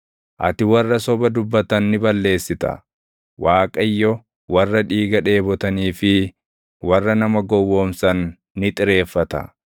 Ati warra soba dubbatan ni balleessita. Waaqayyo warra dhiiga dheebotanii fi warra nama gowwoomsan ni xireeffata.